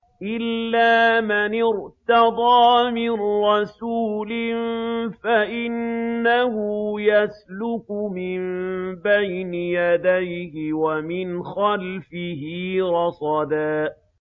إِلَّا مَنِ ارْتَضَىٰ مِن رَّسُولٍ فَإِنَّهُ يَسْلُكُ مِن بَيْنِ يَدَيْهِ وَمِنْ خَلْفِهِ رَصَدًا